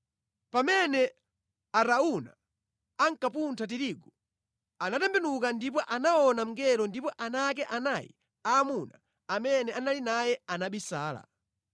Pamene Arauna ankapuntha tirigu, anatembenuka ndipo anaona mngelo ndipo ana ake anayi aamuna amene anali naye anabisala.